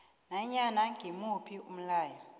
nanyana ngimuphi umlayo